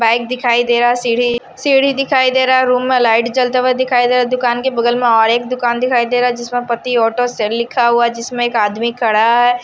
Bike दिखाई दे रहा है सीढ़ी सीढ़ी दिखाई दे रहा है रूम में लाइट जलते हुए दिखाई दे रहा है दुकान के बगल में एक और दुकान दिखाई दे रहा जिसमें पति ऑटो सेल लिखा हुआ है जिसमें एक आदमी खड़ा हैं।